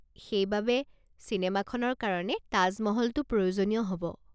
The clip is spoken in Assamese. সেইবাবে, চিনেমাখনৰ কাৰণে তাজ মহলটো প্ৰয়োজনীয় হ'ব।